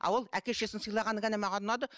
а ол әке шешесісін сыйлағаны ғана маған ұнады